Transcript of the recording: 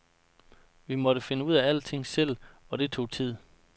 Vi måtte finde ud af alting selv, og det tog tid.